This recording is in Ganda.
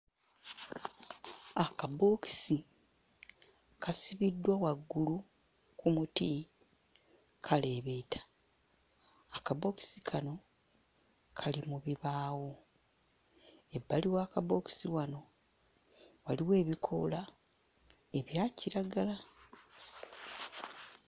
Akabookisi kasibiddwa waggulu ku muti kaleebeeta, akabookisi kano kali mu bibaawo, ebbali w'akabookisi wano waliwo ebikoola ebya kiragala.